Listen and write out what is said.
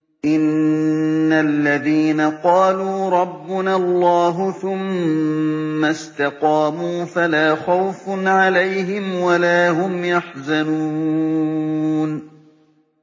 إِنَّ الَّذِينَ قَالُوا رَبُّنَا اللَّهُ ثُمَّ اسْتَقَامُوا فَلَا خَوْفٌ عَلَيْهِمْ وَلَا هُمْ يَحْزَنُونَ